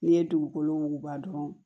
N'i ye dugukolo wuguba dɔrɔn